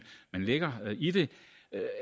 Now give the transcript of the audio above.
lægger i det